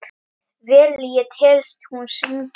Vel ég tel hún syngi.